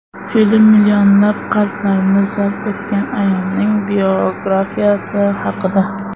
Film millionlab qalblarni zabt etgan ayolning biografiyasi haqida.